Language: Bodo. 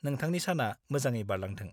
नोंथांनि साना मोजाङै बारलांथों।